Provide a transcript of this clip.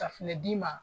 Safinɛ d'i ma